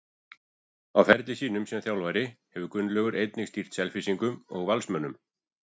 Á ferli sínum sem þjálfari hefur Gunnlaugur einnig stýrt Selfyssingum og Valsmönnum.